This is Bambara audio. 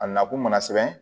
A nakun mana sɛbɛn